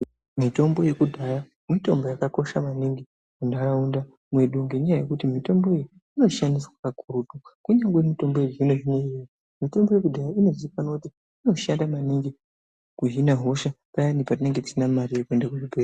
Mitombo yedhaya mitombo yakakosha maningi muntaraunda mwedu, ngenyaya yekuti mitombo iyi inoshandiswa kakurutu kunyangwe mitombo yechizvino-zvino iripo. Mitombo yekudhaya inozikanwa maningi kuti inohina hosha payana patinenge tisina mare yekuenda kuzvibhedhlera.